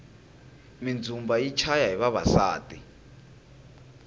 mindzumba yi chaya hi vavasati